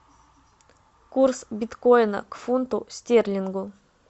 курс биткоина к фунту стерлингу